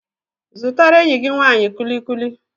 Zụtara enyi gị nwanyị kullikuli.